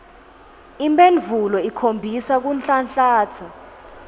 imphendvulo ikhombisa kunhlanhlatsa